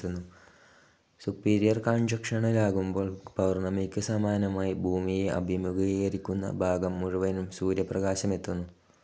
Superior കൺജക്ഷനിലാകുമ്പോൾ പൗർണ്ണമിക്ക് സമാനമായി ഭൂമിയെ അഭിമുഖീകരിക്കുന്ന ഭാഗം മുഴുവനും സൂര്യപ്രകാശമെത്തുന്നു.